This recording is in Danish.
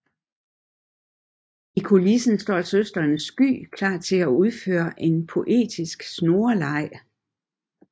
I kulissen står søsteren Sky klar til at udføre en poetisk snoreleg